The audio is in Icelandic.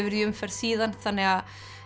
í umferð síðan þannig að